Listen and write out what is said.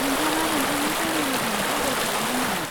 नोंथाङा नोंथांनि फेमेलिजों ट्रेभेल खालामगोन नामा?